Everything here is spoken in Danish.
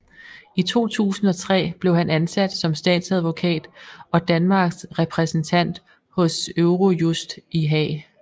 I 2003 blev han ansat som statsadvokat og Danmarks repræsentant hos Eurojust i Haag